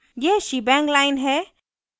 यह shebang line है